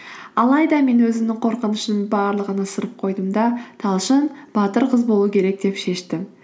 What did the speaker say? алайда мен өзімнің қорқынышымның барлығыны ысырып қойдым да талшын батыр қыз болу керек деп шештім